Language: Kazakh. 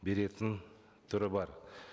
беретін түрі бар